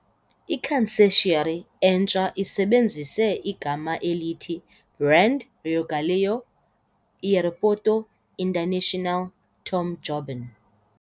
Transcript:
I-concessionary entsha isebenzise igama elithi brand RIOgaleão - Aeroporto Internacional Tom Jobim.